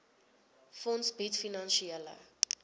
fonds bied finansiële